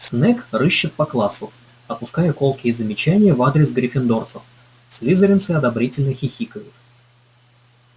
снегг рыщет по классу отпуская колкие замечания в адрес гриффиндорцев слизеринцы одобрительно хихикают